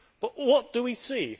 But what do we see?